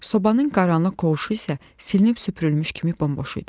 Sobanın qaranlıq qovuçu isə silinib süpürülmüş kimi bomboş idi.